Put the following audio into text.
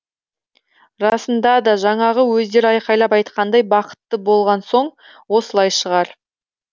расында да жаңағы өздері айқайлап айтқандай бақытты болған соң осылай шығар